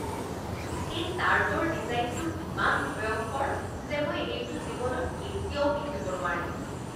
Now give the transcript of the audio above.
এই ছাৰ্টৰ ডিজাইনটো ইমান ভয়ংকৰ যে মই এইটো জীৱনত কেতিয়াও পিন্ধিব নোৱাৰিম।